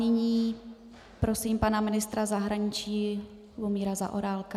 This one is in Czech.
Nyní prosím pana ministra zahraničí Lubomíra Zaorálka.